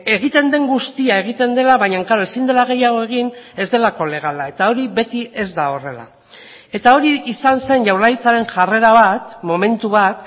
egiten den guztia egiten dela baina klaro ezin dela gehiago egin ez delako legala eta hori beti ez da horrela eta hori izan zen jaurlaritzaren jarrera bat momentu bat